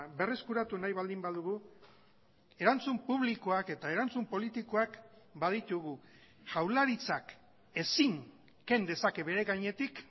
berreskuratu nahi baldin badugu erantzun publikoak eta erantzun politikoak baditugu jaurlaritzak ezin ken dezake bere gainetik